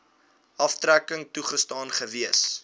aftrekking toegestaan gewees